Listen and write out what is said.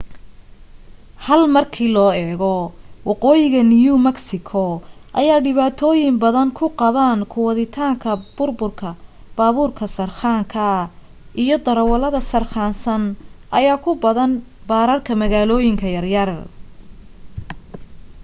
hal markii loo eego waqooyiga new mexico ayaa dhibaatooyin badan ku qabaan ku waditaanka baaburka sarqaanka iyo darawalada sarqaansan ayaa ku badan baararka magaalooyinka yar yar